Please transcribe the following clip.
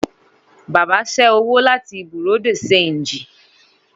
Baba ṣẹ́ owó láti Bùréàú de ṣéńjì